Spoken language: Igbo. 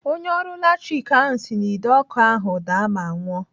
Onye ọrụ latrik ahụ si n'Ide ọkụ ahụ daa ma nwụọ.